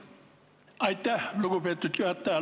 Aitäh, lugupeetud juhataja!